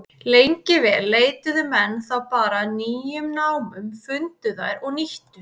Lengi vel leituðu menn þá bara að nýjum námum, fundu þær og nýttu.